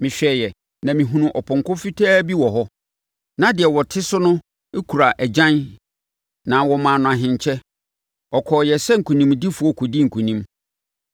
Mehwɛeɛ, na mehunuu ɔpɔnkɔ fitaa bi wɔ hɔ. Na deɛ ɔte ne so no kura agyan na wɔmaa no ahenkyɛ. Ɔkɔeɛ sɛ nkonimdifoɔ kɔdii nkonim.